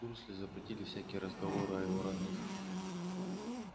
дурсли запретили всякие разговоры о его родных